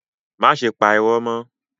Máṣe pa ìró mọ́.